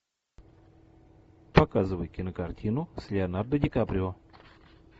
показывай кинокартину с леонардо ди каприо